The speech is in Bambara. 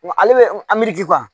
Ale bɛ